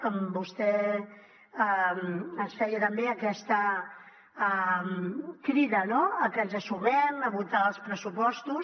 com vostè ens feia també aquesta crida no a que ens sumem a votar els pressupostos